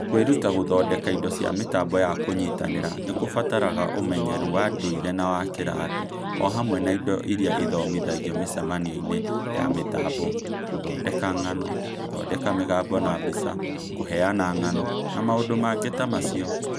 Kwĩruta gũthondeka indo cia mĩtambo ya kũnyitanira nĩ kũbataraga ũmenyeru wa ndũire na wa kĩrathi, o hamwe na indo iria ithomithagio mĩcemanio-inĩ ya mĩtambo (gũthondeka ng'ano, gũthondeka mĩgambo na mbica, kũheana ng'ano, na maũndũ mangĩ ta macio).